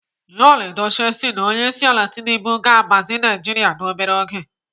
Yul Edochie si na Onyeisiala Tinubu ga-agbazi Naijiria n'obere oge.